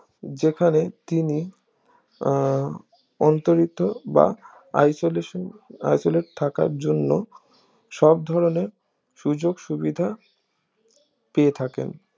যেখানে তিনি আহ অন্তরিত বা isolation isolate থাকার জন্য সব ধরণের সুযোক সুবিধা পেয়ে থাকেন